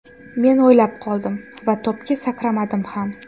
Men o‘ylab qoldim va to‘pga sakramadim ham.